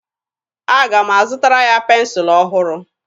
Aga m azụtara ya pensụlụ ọhụrụ.